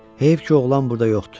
Heyf ki, oğlan burda yoxdur.